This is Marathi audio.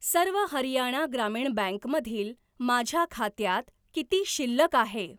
सर्व हरियाणा ग्रामीण बँक मधील माझ्या खात्यात किती शिल्लक आहे?